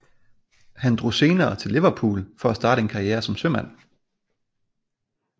Han drog senere til Liverpool for at starte en karriere som sømand